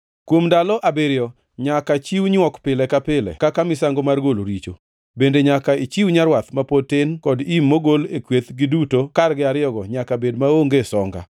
“Kuom ndalo abiriyo nyaka chiw nywok pile ka pile kaka misango mar golo richo; bende nyaka ichiw nyarwath ma pod tin kod im mogol e kweth giduto kargi ariyogo nyaka bed maonge songa.